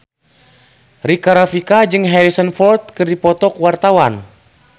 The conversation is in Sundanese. Rika Rafika jeung Harrison Ford keur dipoto ku wartawan